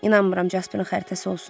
İnanmıram Jasparin xəritəsi olsun.